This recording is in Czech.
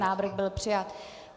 Návrh byl přijat.